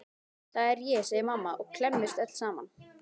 Það er ég, segir mamma og klemmist öll saman.